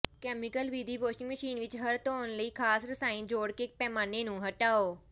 chemical ਵਿਧੀ washing machine ਵਿਚ ਹਰ ਧੋਣ ਲਈ ਖਾਸ ਰਸਾਇਣ ਜੋੜ ਕੇ ਪੈਮਾਨੇ ਨੂੰ ਹਟਾਓ